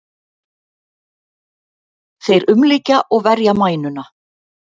Þeir umlykja og verja mænuna.